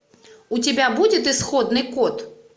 у тебя будет исходный код